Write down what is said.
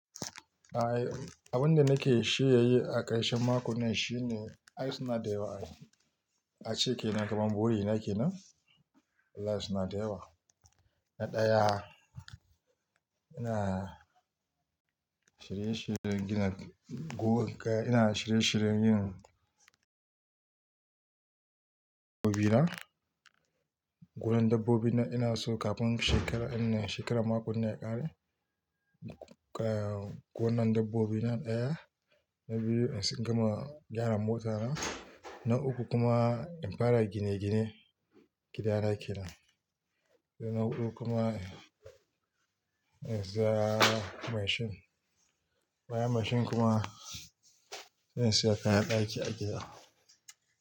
Abin da nake shiryayi a ƙarshen makon nan shine, ai suna da yawa a ciki, nan kamar buri nake nan. Ice na da yawa. Na ɗaya, ina shirye shiryen gina go-- ina shirye shiryen yin dabbobi nan. Gudan dabbobi nan ina so kafin shekara, shine shekara makon nan ya ƙare. Ga gonan dabbobi na ɗaya, na biyu in gama gyara mota na, na uku kuma in fara gine-gine gida na kenan. Na huɗu kuma in saya mashin. Bayan mashin kuma in saya kayan ɗaki a gida.